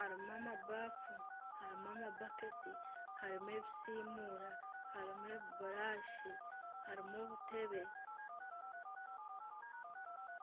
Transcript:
harimu amabaafu harimu amabaketi harimu ebisiimura harimu ebiburashi harimu obutebe.